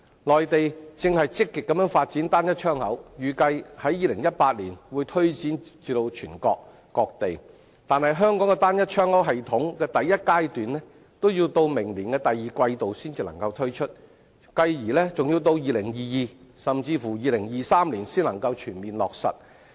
內地正積極發展"單一窗口"，預計於2018年會推展至全國各地，但香港的"單一窗口"系統第一階段已要在明年第二季度才能推出，繼而更要至2022年，甚至2023年才能全面落實。